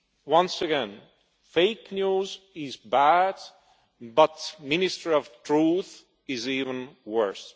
Once again, fake news is bad, but the Ministry of Truth is even worse.